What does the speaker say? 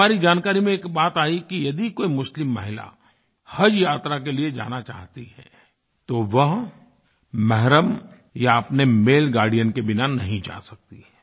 हमारी जानकारी में एक बात आयी कि यदि कोई मुस्लिम महिला हजयात्रा के लिए जाना चाहती है तो वह महरम या अपने माले गार्डियन के बिना नहीं जा सकती है